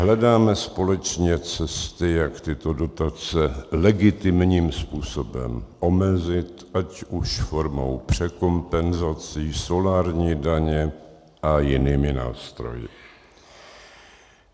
Hledáme společně cesty, jak tyto dotace legitimním způsobem omezit, ať už formou překompenzací, solárními daněmi a jinými nástroji.